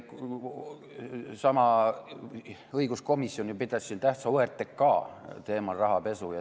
Seesama õiguskomisjon pidas ju siin tähtsa OTRK rahapesu teemal.